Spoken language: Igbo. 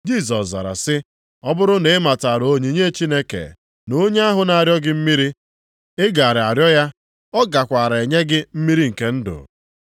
Jisọs zara sị, “Ọ bụrụ na ị matara onyinye Chineke, na onye ahụ na-arịọ gị mmiri, ị gaara arịọ ya, ọ gakwara enye gị mmiri nke ndụ.”